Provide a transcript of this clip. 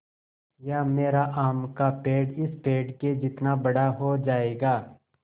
या मेरा आम का पेड़ इस पेड़ के जितना बड़ा हो जायेगा